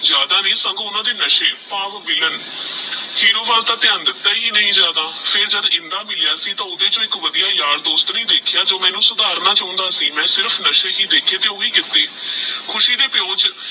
ਜਾਦਾ ਨਹੀ ਓਹਨਾ ਦੇ ਨਸ਼ੇ ਪੈ ਵਿਲ੍ਲਾਂ ਹੇਰੋ ਵਾਲ ਤਹ ਧਯਾਨ ਦਿੱਤਾ ਹੀ ਨਹੀ ਜਾਦਾ ਫਿਰ ਜਦ ਇੰਦਾ ਮਿਲਯਾ ਸੀ ਤੇਹ ਓਹਦੇ ਚੋ ਏਕ ਵਾਦਿਯ ਯਾਰ ਦਸੋਟ ਨਹੀ ਦੇਖ੍ਯਾ ਜੋ ਮੈਨੂ ਸੁਧਾਰਨਾ ਚੁਣਦਾ ਸੀ ਮੈ ਸਿਰਫ ਨਸ਼ੇ ਹੀ ਦੇਖੇ ਤੇਹ ਓਹੀ ਕਿੱਖੁਸ਼ੀ ਦੇ ਪਿਓ ਚ